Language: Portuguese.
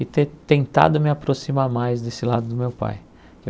e ter tentado me aproximar mais desse lado do meu pai.